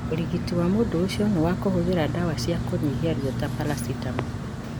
ũrigiti wa mũrimũ ũcio nĩ wa kũhũthĩra ndawa cia kũnyihia rũo ta paracetamol.